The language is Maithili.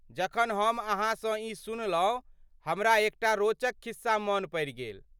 जखन हम अहाँसँ ई सुनलहुँ हमरा एकटा रोचक खिस्सा मन पड़ि गेल।